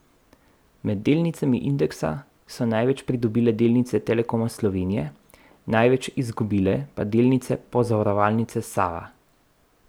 Med delnicami indeksa so največ pridobile delnice Telekoma Slovenije, največ izgubile pa delnice Pozavarovalnice Sava.